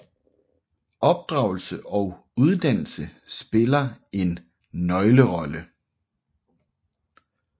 Opdragelse og uddannelse spiller en nøglerolle